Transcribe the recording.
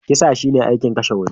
Kisa shi ne aikin kashe wani.